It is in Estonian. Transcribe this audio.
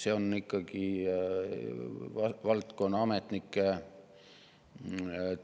See on ikkagi valdkonna ametnike